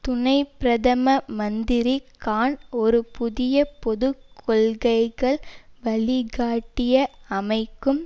துணை பிரதம மந்திரி கான் ஒரு புதிய பொது கொள்கைகள் வழிகாட்டியை அமைக்கும்